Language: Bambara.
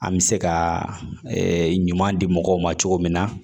An bɛ se ka ɲuman di mɔgɔw ma cogo min na